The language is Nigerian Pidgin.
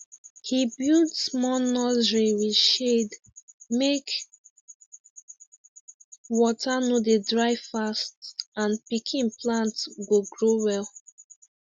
he build small nursery with shade make water no dey dry fast and pikin plant go grow well